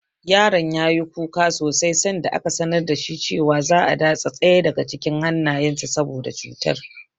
Yaron ya yi kuka sosai sanda aka sanar da shi cewa za'a datse ɗaya daga cikin hannayensa saboda cutar.